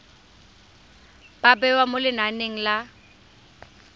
ba bewa mo lenaneng la